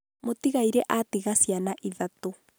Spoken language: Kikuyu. Mũtigairĩ atiga ciana ithatũ.